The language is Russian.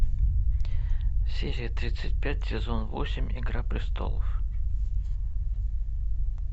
серия тридцать пять сезон восемь игра престолов